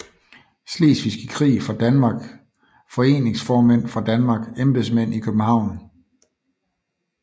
Slesvigske Krig fra Danmark Foreningsformænd fra Danmark Embedsmænd i København